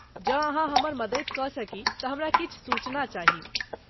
जँ अहाँ हमर मदति कऽ सकी तऽ हमरा किछु सूचना चाही।